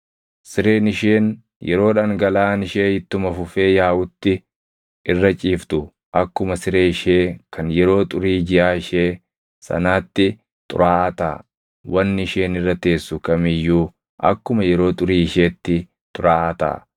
Sireen isheen yeroo dhangalaʼaan ishee ittuma fufee yaaʼutti irra ciiftu akkuma siree ishee kan yeroo xurii jiʼaa ishee sanaatti xuraaʼaa taʼa; wanni isheen irra teessu kam iyyuu akkuma yeroo xurii isheetti xuraaʼaa taʼa.